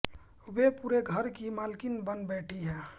वह पूरे घर की मालकिन बन बैठी है